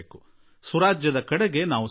ಸುರಾಜ್ಯ ನಮ್ಮ ಆದ್ಯತೆಯಾಗಲಿ